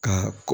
Ka